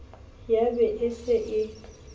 ya ba e se e